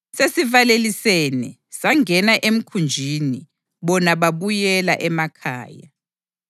Sesivalelisene, sangena emkhunjini, bona babuyela emakhaya.